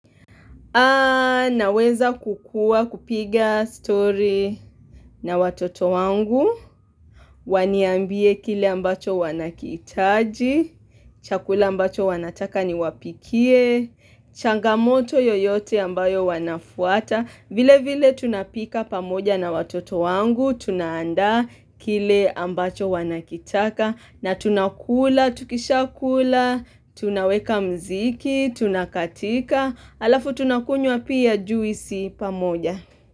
Naweza kukua kupiga story na watoto wangu, waniambie kile ambacho wanakihitaji, chakula ambacho wanataka niwapikie, changamoto yoyote ambayo wanafuata, vile vile tunapika pamoja na watoto wangu, tunaanda kile ambacho wanakitaka, na tunakula, tukishakula, tunaweka mziki, tunakatika. Alafu tunakunwa pia juisi pamoja.